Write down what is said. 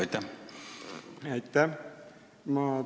Aitäh!